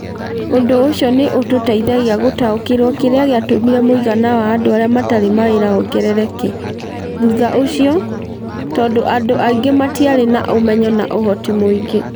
Ũndũ ũcio nĩ ũtũteithagia gũtaũkĩrũo kĩrĩa gĩatũmire mũigana wa andũ arĩa matarĩ mawĩra wongerereke, thutha ũcio, tondũ andũ aingĩ matiarĩ na ũmenyo na ũhoti mũingĩ.